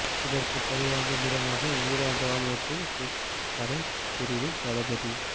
இதற்கு பழிவாங்கும் விதமாக ஈரான் ராணுவத்தின் குத்ஸ் படைப் பிரிவின் தளபதி